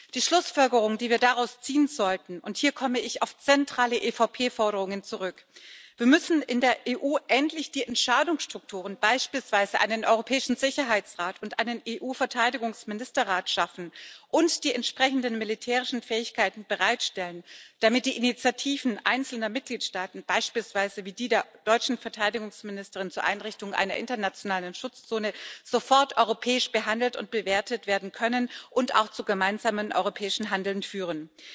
Die Schlussfolgerung, die wir daraus ziehen sollten und hier komme ich auf zentrale EVP Forderungen zurück Wir müssen in der EU endlich die Entscheidungsstrukturen beispielsweise einen europäischen Sicherheitsrat und einen EU Verteidigungsministerrat schaffen und die entsprechenden militärischen Fähigkeiten bereitstellen, damit die Initiativen einzelner Mitgliedstaaten wie beispielsweise die der deutschen Verteidigungsministerin zur Einrichtung einer internationalen Schutzzone sofort europäisch behandelt und bewertet werden können und auch zu gemeinsamem europäischen Handeln führen.